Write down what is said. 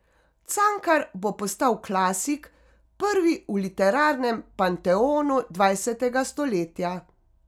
Cankar bo postal klasik, prvi v literarnem panteonu dvajsetega stoletja.